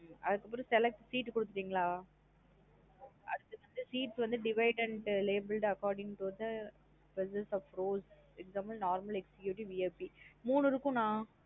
அதுக்கப்றம் select seat குடுத்துடிங்களா. அடுத்து seat வந்து dividend label according to the person of row VIP normal executive மூணு இருக்கும் நா.